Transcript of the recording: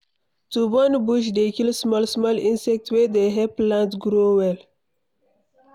To burn bush dey kill small small insect wey dey help plants grow well